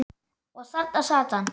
Og þarna sat hann.